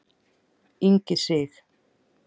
Ingi Sig.